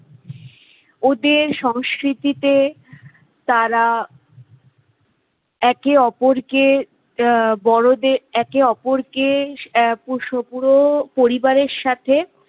ওদের সংস্কৃতিতে তারা একে অপরকে বড়দের একে অপরকে পুরো পরিবাররের সাথে